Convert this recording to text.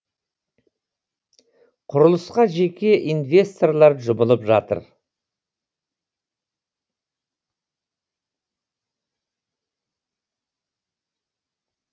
құрылысқа жеке инвесторлар жұмылып жатыр